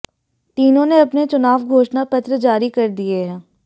तीनों ने अपने चुनाव घोषणा पत्र जारी कर दिए हैं